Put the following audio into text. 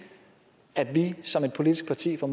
at vi som et politisk parti får